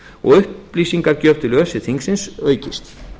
og upplýsingagjöf til öse þingsins aukist